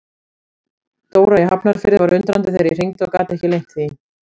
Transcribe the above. Dóra í Hafnarfirði var undrandi þegar ég hringdi og gat ekki leynt því.